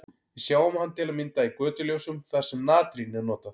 Við sjáum hann til að mynda í götuljósum þar sem natrín er notað.